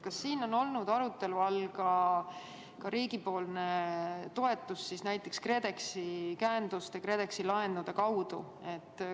Kas on olnud arutelu all ka riigi toetus näiteks KredExi laenude käenduse kaudu?